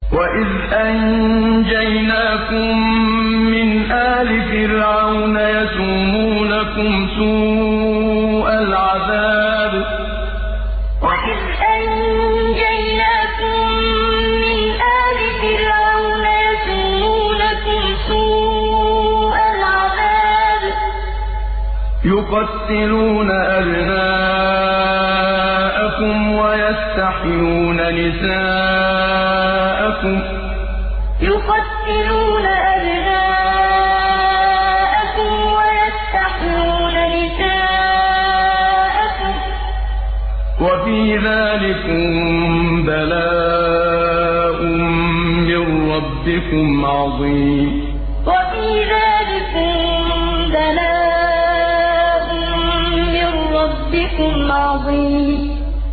وَإِذْ أَنجَيْنَاكُم مِّنْ آلِ فِرْعَوْنَ يَسُومُونَكُمْ سُوءَ الْعَذَابِ ۖ يُقَتِّلُونَ أَبْنَاءَكُمْ وَيَسْتَحْيُونَ نِسَاءَكُمْ ۚ وَفِي ذَٰلِكُم بَلَاءٌ مِّن رَّبِّكُمْ عَظِيمٌ وَإِذْ أَنجَيْنَاكُم مِّنْ آلِ فِرْعَوْنَ يَسُومُونَكُمْ سُوءَ الْعَذَابِ ۖ يُقَتِّلُونَ أَبْنَاءَكُمْ وَيَسْتَحْيُونَ نِسَاءَكُمْ ۚ وَفِي ذَٰلِكُم بَلَاءٌ مِّن رَّبِّكُمْ عَظِيمٌ